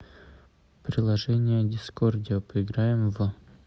приложение дискордио поиграем в